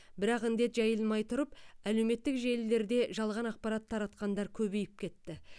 бірақ індет жайылмай тұрып әлеуметтік желілерде жалған ақпарат таратқандар көбейіп кетті